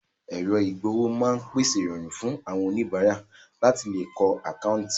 Èrọ ìgb'owó máa ń pèsè ìrọ̀rùn fún àwọn oníbàárà láti lè lo àkáńtì wọn